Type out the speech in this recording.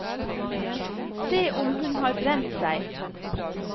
Som om hun har brent seg.